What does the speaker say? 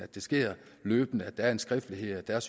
det sker løbende at der er en skriftlighed og